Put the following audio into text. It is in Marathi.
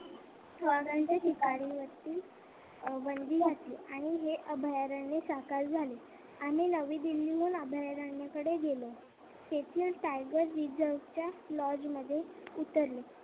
वाघ्याच्या शिकारीवरती बंदी घातली आणि हे अभयारण्य साकार झाले आम्ही नवी दिल्लीकडून अभयारण्याकडे गेलो तेथील टायगर मॉल्स मध्ये उतरलो.